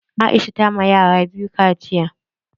Aisha ta ma yara biyu kaciya.